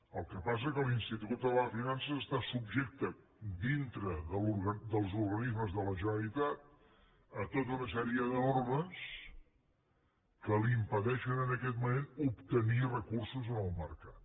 el que passa que l’institut català de finances està subjecte dintre dels organismes de la generalitat a tota una sèrie de normes que li impedeixen en aquest moment obtenir recursos en el mercat